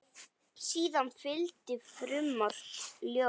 Síðan fylgdi frumort ljóð.